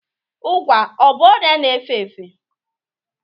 Ụgwa ọ bụ ọrịa na-efe efe?